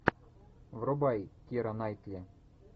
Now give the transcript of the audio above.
врубай кира найтли